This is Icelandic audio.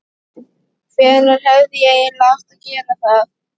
Hvenær hefði ég eiginlega átt að gera það?